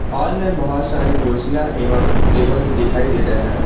Hall में बहोत सारी कुर्सियां एवं टेबल भी दिखाई दे रहे हैं।